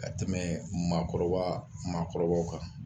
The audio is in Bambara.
Ka tɛmɛ maakɔrɔba maakɔrɔbaw kan